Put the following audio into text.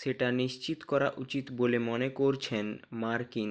সেটা নিশ্চিত করা উচিত বলে মনে করছেন মার্কিন